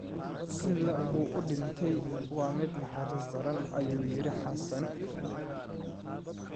Sida uu u dhintay waa mid naxariis daran', ayuu yidhi Xassan.